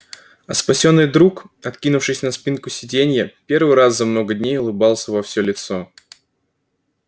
а спасённый друг откинувшись на спинку сиденья первый раз за много дней улыбался во все лицо